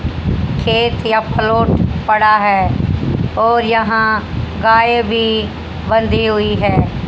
खेत या पड़ा है और यहां गाय भी बंधी हुई है।